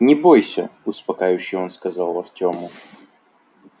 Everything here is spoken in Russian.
не бойся успокаивающе он сказал артёму